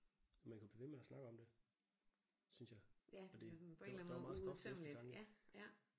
Og man kunne blive ved med at snakke om det synes jeg fordi der der var meget stof til eftertanke